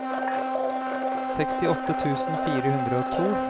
sekstiåtte tusen fire hundre og to